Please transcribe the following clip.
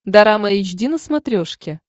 дорама эйч ди на смотрешке